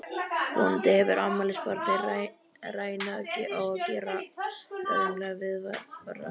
Vonandi hefur afmælisbarnið rænu á að gera lögreglunni viðvart!